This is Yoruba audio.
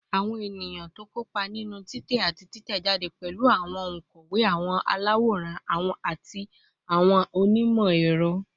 Awọn eniyan ti o kopa ninu titẹ ati titẹjade pẹlu awọn onkọwe, awọn alaworan, ati awọn onimọ-ẹrọ